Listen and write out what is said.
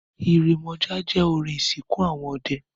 Ìrèmọ̀jé jẹ́ orin ìsìnkú àwọn ọdẹ.